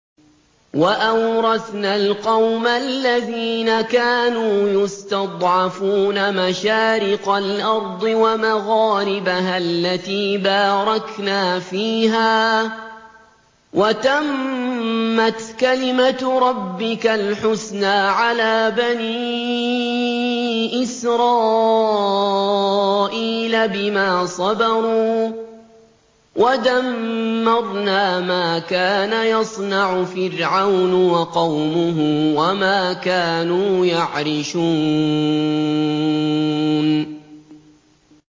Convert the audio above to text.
وَأَوْرَثْنَا الْقَوْمَ الَّذِينَ كَانُوا يُسْتَضْعَفُونَ مَشَارِقَ الْأَرْضِ وَمَغَارِبَهَا الَّتِي بَارَكْنَا فِيهَا ۖ وَتَمَّتْ كَلِمَتُ رَبِّكَ الْحُسْنَىٰ عَلَىٰ بَنِي إِسْرَائِيلَ بِمَا صَبَرُوا ۖ وَدَمَّرْنَا مَا كَانَ يَصْنَعُ فِرْعَوْنُ وَقَوْمُهُ وَمَا كَانُوا يَعْرِشُونَ